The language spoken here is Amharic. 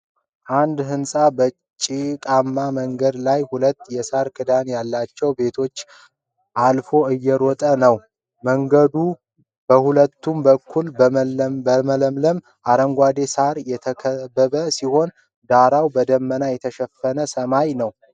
አንድ ህጻን በጭቃማ መንገድ ላይ ሁለት የሳር ክዳን ያላቸው ቤቶችን አልፎ እየሮጠ ነው። መንገዱ በሁለቱም በኩል በለመለመ አረንጓዴ ሳር የተከበበ ሲሆን፣ ዳራው በደመና የተሸፈነ ሰማይ ነው።